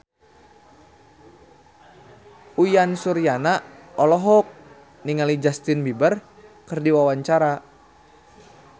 Uyan Suryana olohok ningali Justin Beiber keur diwawancara